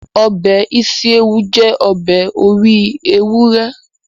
Ọbẹ̀ ísíéwu jẹ́ ọbẹ̀ orí ewúrẹ́